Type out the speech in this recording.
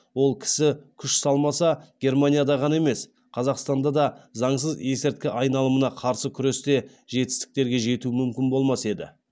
ол кісі күш салмаса германияда ғана емес қазақстанда да заңсыз есірткі айналымына қарсы күресте жетістіктерге жету мүмкін болмас еді